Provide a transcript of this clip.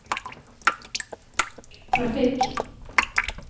trafikk